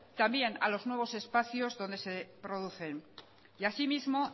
también a los nuevos espacios donde se producen y asimismo